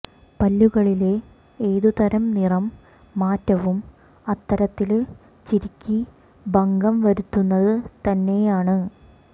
പല്ലുകളിലെ ഏത് തരം നിറം മാറ്റവും അത്തരത്തില് ചിരിക്ക് ഭംഗം വരുത്തുന്നത് തന്നെയാണ്